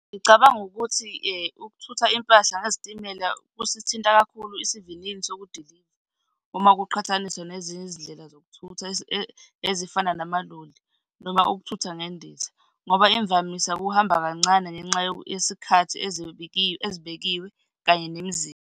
Ngicabanga ukuthi ukuthutha impahla ngezitimela kusithinta kakhulu isivinini sokudiliva uma kuqhathaniswa nezinye izindlela zokuthutha ezifana namaloli noma ukuthutha ngendiza. Ngoba imvamisa kuhamba kancane ngenxa yesikhathi ezibekiwe kanye nemizila.